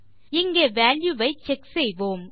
இங்கே வால்யூ வை செக் செய்வோம்